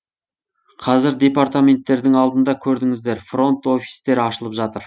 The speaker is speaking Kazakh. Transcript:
қазір департаменттердің алдында көрдіңіздер фронт офистар ашылып жатыр